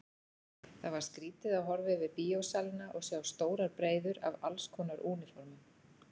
Það var skrýtið að horfa yfir bíósalina og sjá stórar breiður af allskonar úniformum.